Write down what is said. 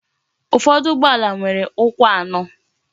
Ụfọdụ ụgbọala nwere ukwu anọ.